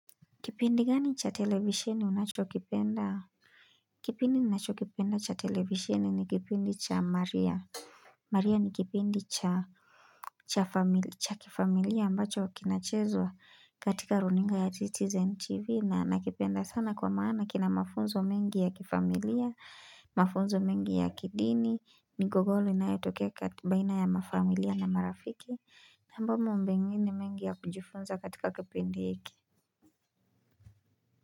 Kipindi gani cha televisheni unachokipenda? Kipindi ninachokipenda cha televisheni ni kipindi cha Maria. Maria ni kipindi cha cha kifamilia ambacho kinachezwa katika runinga ya CITIZEN TV na nakipenda sana kwa maana kina mafunzo mengi ya kifamilia, mafunzo mengi ya kidini, migogolo inayotokeka baina ya mafamilia na marafiki, nambamu mbingini mengi ya kujifunza katika kipindi iki.